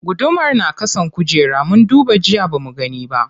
Gudumar na ƙasan kujera, mun duba jiya bamu gani ba.